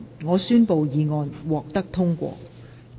我宣布議案獲得通過。